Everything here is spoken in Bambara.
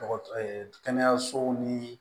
Dɔgɔ kɛnɛyasow ni